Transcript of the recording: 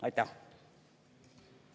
Aitäh!